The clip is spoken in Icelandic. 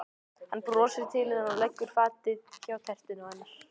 Hann brosir til hennar og leggur fatið hjá tertunni hennar.